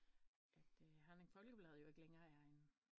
At herningfolkeblad ikke længere er en